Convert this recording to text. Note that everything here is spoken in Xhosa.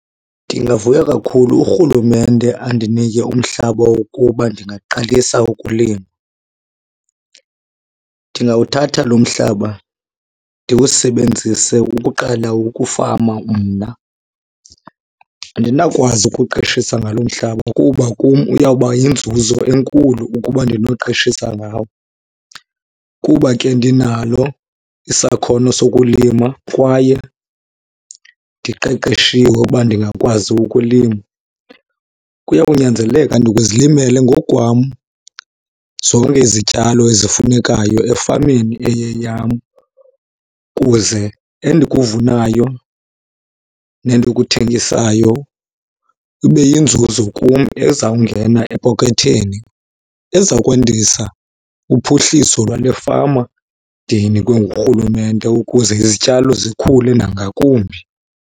Ndingavuya kakhulu urhulumente andinike umhlaba wokuba ndingaqalisa ukulima. Ndingawuthatha lo mhlaba ndiwusebenzise ukuqala ukufama mna. Andinawukwazi ukuqeshisa ngalo mhlaba kuba kum uyawuba yinzuzo enkulu ukuba andinoqeshisa ngawo. Kuba ke ndinalo isakhono sokulima kwaye ndiqeqeshiwe uba ndingakwazi ukulima, kuyawunyanzeleka ndizilimele ngokwam zonke izityalo ezifunekayo efameni eyeyam. Kuze endikuvunayo nendikuthengisayo ibe yinzuzo kum ezawungena epokothweni eza kwandisa uphuhliso lwale fama ndiyinikwe ngurhulumente ukuze izityalo zikhule nangakumbi.